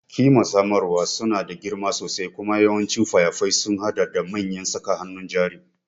Ƙimar samarwa suna da girma sosai kuma yawancin fayafai sun haɗa da manyan saka hannun jari.